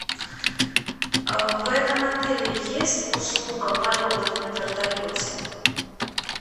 в этом отеле есть услуга полетов на вертолете